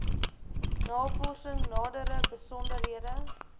navorsing nadere besonderhede